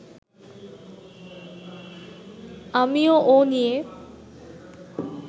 আমিও ও নিয়ে